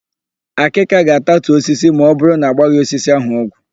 Àkị́kà ga-atatu osisi ma ọbụrụ na agbaghị osisi ahụ ọgwụ.